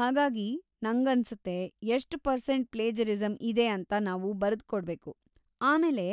ಹಾಗಾಗಿ, ನಂಗನ್ಸುತ್ತೆ ಎಷ್ಟ್‌ ಪರ್ಸೆಂಟ್‌ ಪ್ಲೇಜರಿಸಂ ಇದೆ ಅಂತ ನಾವು ಬರ್ದುಕೊಡ್ಬೇಕು, ಆಮೇಲೆ